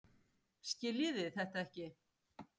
Skiljiði þetta ekki?